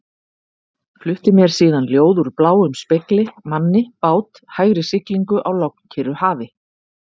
Flutti mér síðan ljóð úr bláum spegli, manni, bát, hægri siglingu á lognkyrru hafi.